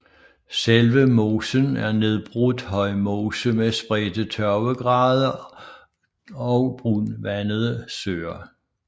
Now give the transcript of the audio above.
Selve mosen er nedbrudt højmose med spredte tørvegrave og brunvandede søer